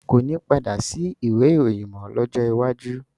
Koni padà sí ìwé ìròyìn mọ lọ́jọ́ iwájú